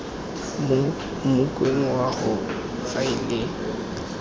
mo mokgweng wa go faela